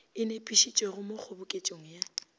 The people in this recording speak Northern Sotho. e nepišitšwego mo kgoboketšong ya